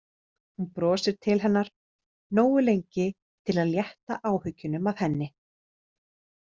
Hún brosir til hennar, nógu lengi til að létta áhyggjunum af henni.